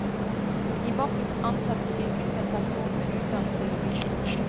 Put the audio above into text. I mars ansatte sykehuset en person med utdannelse i logistikk.